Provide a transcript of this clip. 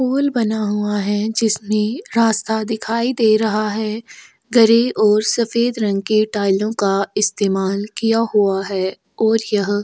पोल बना हुआ है जिसने रास्ता दिखाई दे रहा है गरे और सफेद रंग के टाइलो का इस्तेमाल किया हुआ है और यह--